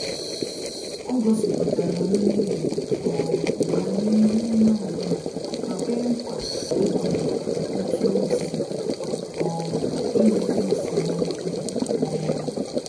Ọ gosipụtara mmehie um ya n’ihu onyeobula ma kwee nkwa ịgbanwe otu osi um ewere esemokwu um